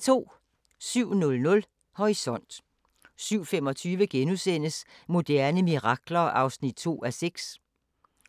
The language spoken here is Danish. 07:00: Horisont 07:25: Moderne mirakler (2:6)*